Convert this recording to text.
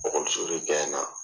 Okɔliso de gaɲɛna